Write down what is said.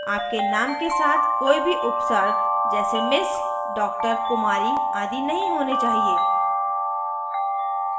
आपके name के साथ कोई भी उपसर्ग जैसे m/s dr kumari आदि नहीं होने चाहिए